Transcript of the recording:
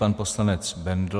Pan poslanec Bendl.